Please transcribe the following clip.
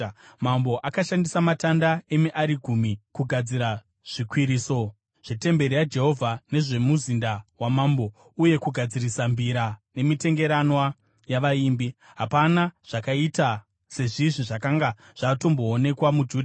Mambo akashandisa matanda emiarigumi kugadzira zvikwiriso zvetemberi yaJehovha nezvemuzinda wamambo, uye kugadzirisa mbira nemitengeranwa yavaimbi. Hapana zvakaita sezvizvi zvakanga zvatomboonekwa muJudha).